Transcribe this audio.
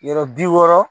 Yɔrɔ bi wɔɔrɔ